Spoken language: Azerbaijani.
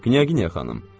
Knyaqinaya xanım.